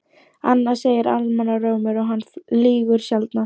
Annað segir almannarómur og hann lýgur sjaldnast.